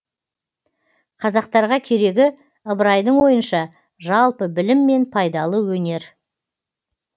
қазақтарға керегі ыбырайдың ойынша жалпы білім мен пайдалы өнер